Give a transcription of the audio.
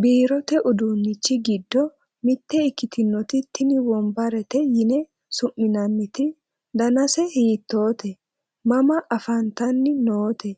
biirote uduunnichi giddo mitte ikkitinoti tini wombarete yine su'minanniti, danase hiittoote? mama afantanni noote?